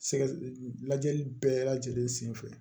Sɛgɛ lajɛli bɛɛ lajɛlen senfɛ